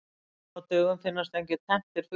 Nú á dögum finnast engir tenntir fuglar.